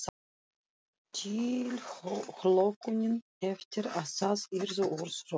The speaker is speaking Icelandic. Tilhlökkunin eftir að það yrðu orð, rödd.